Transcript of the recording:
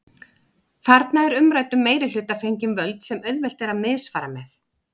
Þarna er umræddum meirihluta fengin völd sem auðvelt er að misfara með.